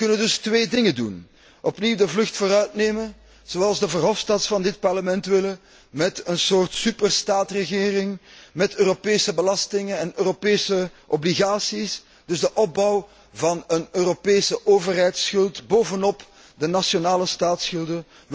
We kunnen dus twee dingen doen opnieuw de vlucht vooruit nemen, zoals de Verhofstadts van dit Parlement willen met een soort superstaatregering, met Europese belastingen en Europese obligaties, de opbouw dus van een Europese overheidsschuld bovenop de nationale staatsschulden.